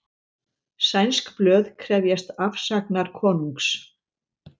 Sænsk blöð krefjast afsagnar konungs